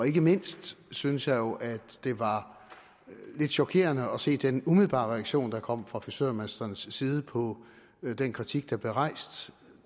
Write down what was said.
ikke mindst synes jeg jo det var lidt chokerende at se den umiddelbare reaktion der kom fra frisørmestrenes side på den kritik der blev rejst